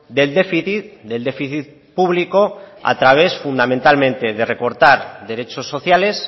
del déficit del déficit público a través fundamentalmente de recortar derechos sociales